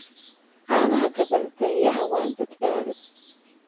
Caanaha gabbaldayaha waa badbaado.